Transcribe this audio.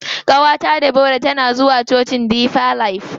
Ƙawata Debora tana zuwa cocin deeper life.